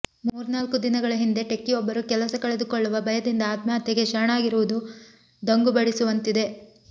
ಮೂರ್ನಾಲ್ಕು ದಿನಗಳ ಹಿಂದೆ ಟೆಕ್ಕಿಯೊಬ್ಬರು ಕೆಲಸ ಕಳೆದುಕೊಳ್ಳುವ ಭಯದಿಂದ ಆತ್ಮಹತ್ಯೆಗೆ ಶರಣಾಗಿರುವುದು ದಂಗುಬಡಿಸುವಂತಿದೆ